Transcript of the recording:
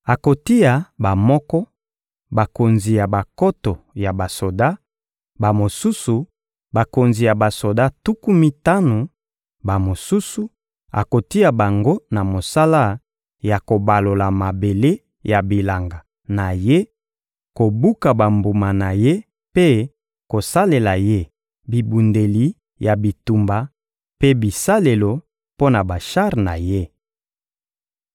Akotia bamoko, bakonzi ya bankoto ya basoda; bamosusu, bakonzi ya basoda tuku mitano; bamosusu, akotia bango na mosala ya kobalola mabele ya bilanga na ye, kobuka bambuma na ye mpe kosalela ye bibundeli ya bitumba mpe bisalelo mpo na bashar na ye.